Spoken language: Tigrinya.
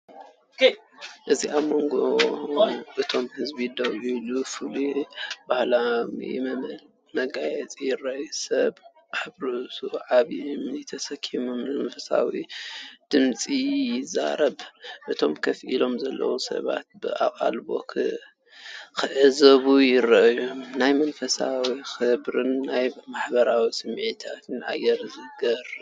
ኣብ መንጎ እቶም ህዝቢ ደው ኢሎም፡ ፍሉይን ባህላውን መውጽኢ ይርእዩ። ሰብ ኣብ ርእሱ ዓቢይ እምኒ ተሰኪሙ መንፈሳዊ ድምጺ ይዛረብ፤ እቶም ኮፍ ኢሎም ዘለዉ ሰባት ብኣቓልቦ ክዕዘቡ ይረኣዩ። ናይ መንፈሳዊ ክብርን ናይ ማሕበረሰብ ስምዒትን ኣየር ይዝርጋሕ።